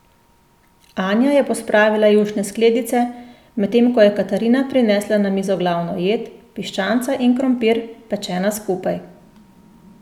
Anja je pospravila jušne skledice, medtem ko je Katarina prinesla na mizo glavno jed, piščanca in krompir, pečena skupaj.